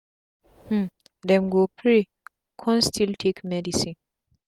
um dem go pray kon still take medicine